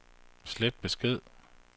slet besked